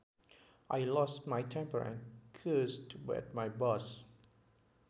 I lost my temper and cussed at my boss